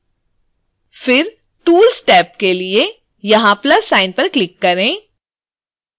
फिर tools tab के लिए यहाँ plus sign पर क्लिक करें